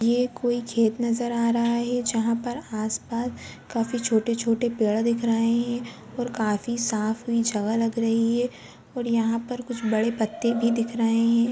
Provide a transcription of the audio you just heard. ये कोई खेत नजर आ रहा है जहाँ पर आस-पास काफी छोटे-छोटे पेड़ दिख रहे है और काफी साफ लग रही है यहाँ पर पर कुछ बड़े पत्ते भी दिख रहे हैं।